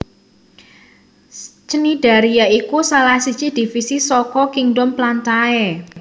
Cnidaria iku salah siji divisi saka kingdom plantae